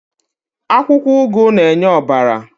Akwụkwọ ụgụ na-enye ọbara.